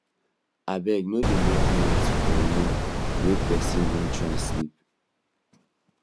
abeg no dey make noise for room wey person wan try rest